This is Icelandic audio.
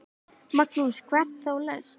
Magnús: Og hvert þá helst?